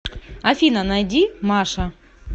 афина найди маша